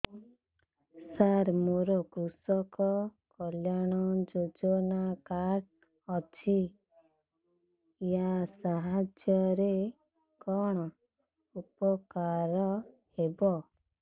ସାର ମୋର କୃଷକ କଲ୍ୟାଣ ଯୋଜନା କାର୍ଡ ଅଛି ୟା ସାହାଯ୍ୟ ରେ କଣ ଉପକାର ହେବ